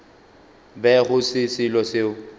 be go se selo seo